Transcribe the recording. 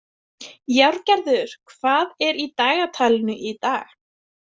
Járngerður, hvað er í dagatalinu í dag?